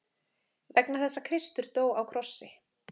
Vegna þess að Kristur dó á krossi.